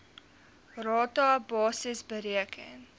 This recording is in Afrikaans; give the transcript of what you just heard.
rata basis bereken